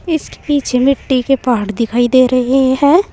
इसके पीछे में मिट्टी के पहाड़ दिखाई दे रहे हैं।